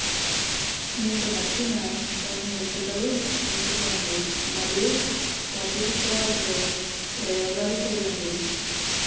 మీకు నచ్చిన కొన్ని ఎంపికలు ఎంచుకోండి మరియు కొత్త చిత్రాలతో ప్రయోగాలు చేయండి